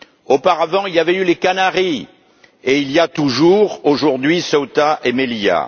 Auparavant, il y avait eu les Canaries et il y a toujours aujourd'hui Ceuta et Melilla.